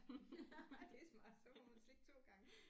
Ja nej det er smart så får hun slik 2 gange